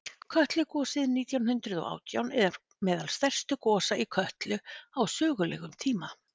kötlugosið nítján hundrað og átján er meðal stærstu gosa í kötlu á sögulegum tíma